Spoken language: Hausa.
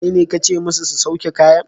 Kaine kace musu su sauke kayan?